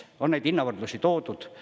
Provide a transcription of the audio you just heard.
On neid hinnavõrdlusi toodud.